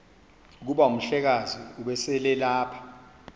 kuba umhlekazi ubeselelapha